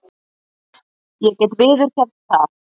Ég get viðurkennt það.